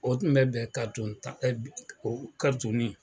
O tun bɛ bɛn ka tun ta o ka tun ni